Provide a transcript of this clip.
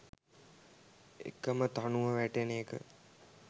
එකම තනුව වැටෙන එක